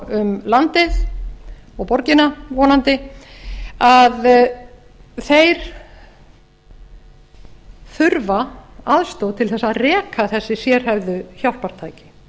um landið og borgina vonandi að þeir þurfa aðstoð til þess að reka þessi sérhæfðu hjálpartæki